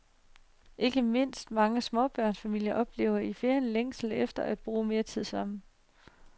Ikke mindst mange småbørnsfamilier oplever i ferien længslen efter at bruge mere tid sammen.